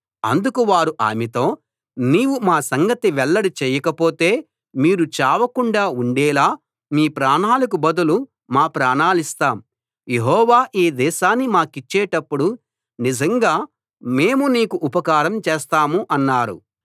అందుకు వారు ఆమెతో నీవు మా సంగతి వెల్లడి చేయకపోతే మీరు చావకుండా ఉండేలా మీ ప్రాణాలకు బదులు మా ప్రాణాలిస్తాం యెహోవా ఈ దేశాన్ని మాకిచ్చేటప్పుడు నిజంగా మేము నీకు ఉపకారం చేస్తాం అన్నారు